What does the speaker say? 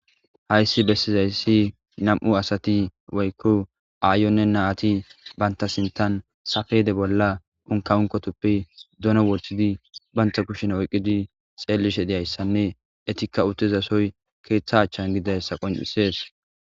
Hayssi bessizaysi nami'u asati woykko aayonne na'ati banta sintan safede bolla unka unkotuppe dono wohthidi banta kushin oyqqidi xeellishe diyayssanne etikka utezasoy keeththa achchan gidayssa qoncisees.